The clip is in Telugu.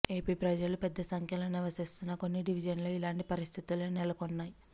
ఏపీ ప్రజలు పెద్ద సంఖ్యలో నివసిస్తోన్న కొన్ని డివిజన్లతో ఇలాంటి పరిస్థితులే నెలకొన్నాయి